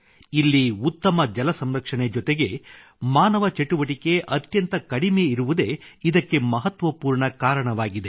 ಇಲ್ಲಿ ಉತ್ತಮ ಜಲಸಂರಕ್ಷಣೆ ಜೊತೆಗೆ ಮಾನವ ಚಟುವಟಿಕೆ ಅತ್ಯಂತ ಕಡಿಮೆ ಇರುವುದೇ ಇದಕ್ಕೆ ಮಹತ್ವಪೂರ್ಣ ಕಾರಣವಾಗಿವೆ